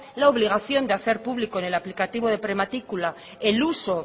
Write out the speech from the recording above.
la obligación de hacer pública en el aplicativo de prematrícula el uso